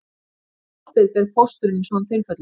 Hvaða ábyrgð ber pósturinn í svona tilfellum